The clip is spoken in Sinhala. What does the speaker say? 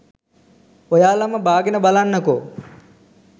ඔයාලම බාගෙන බලන්නකෝ